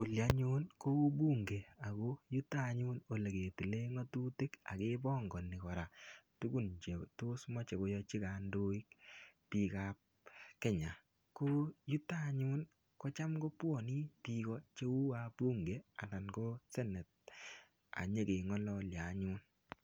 olii anyun kou bunge ako yuto yetetile ngatutik ak kepangani korak tukun che tos mache koyachi kandoik bikab kenya. ko yuta anyun kocham kobwane bik cheu wabunge ana ko senate ak yekengalalya anyun